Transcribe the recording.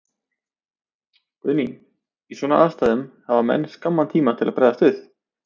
Guðný: Í svona aðstæðum, hafa menn skamman tíma til að bregðast við?